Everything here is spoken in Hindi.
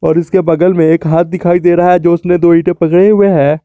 और इसके बगल मे एक हाथ दिखाई दे रहा है जो उसने दो इटे पकडे हुए है।